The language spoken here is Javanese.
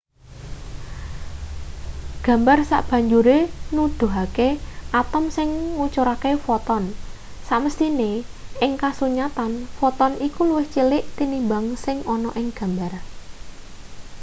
gambar sabanjure nuduhake atom sing ngucurake foton samesthine ing kasunyatan foton iku luwih cilik tinimbang sing ana ing gambar